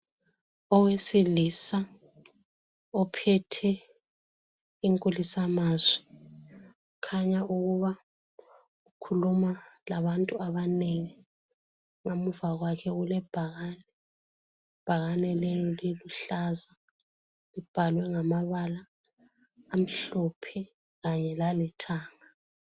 Owesilisa ophethe inkulisamazwi ukhanya ukuba ukhuluma labantu abanengi. Ngemuva kwakhe kulebhakane, ibhakane leli liluhlaza. Libhalwe ngamabala amhlophe kanye lalithanga.